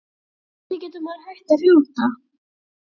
Hvernig getur maður hætt að hrjóta?